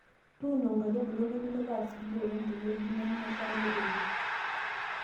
Tuuno inkaitubulu niminukaa sidio oleng tewueji nemesha netoyio